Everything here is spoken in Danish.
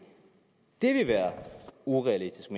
det vil være urealistisk